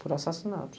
Por assassinato.